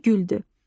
Dəvə güldü.